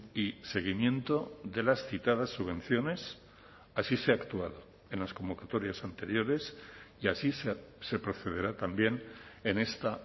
y seguimiento de las citadas subvenciones así se ha actuado en las convocatorias anteriores y así se procederá también en esta